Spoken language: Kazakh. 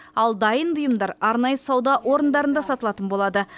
ал дайын бұйымдар арнайы сауда орындарында сатылатын болады